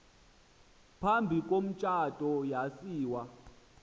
phambi komtshato yasiwa